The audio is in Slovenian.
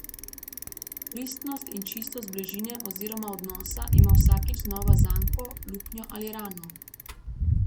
Pristnost in čistost bližine oziroma odnosa ima vsakič znova zanko, luknjo ali rano.